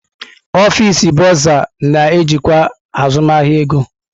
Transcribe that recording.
Ọfịs Bọrzà na-ejikwa azụmahịa ego.